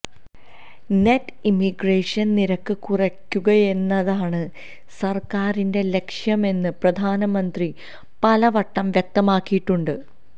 net immigration നിരക്ക് കുറയ്ക്കുകയെന്നതാണ് സര്ക്കാരിന്റെ ലക്ഷ്യമെന്ന് പ്രധാനമന്ത്രി പലവട്ടം വ്യക്തമാക്കിയിട്ടുണ്ട്